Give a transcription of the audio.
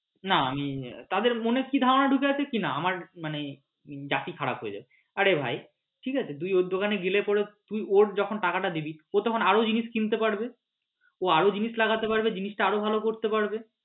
না আমি তাদের মনে কি ধারণা ঢুকে আছে কিনা আমার মানে জাতি খারাপ হয়ে যাচ্ছে আরে ভাই ঠিক আছে তুই ওর দোকানে গেলে পড়ে তুই ওর যখন টাকাটা দিবি ও তখন আরও জিনিস কিনতে পারবে ও আরও জিনিস লাগাতে পারবে জিনিসটা আরও ভালো করতে পারবে।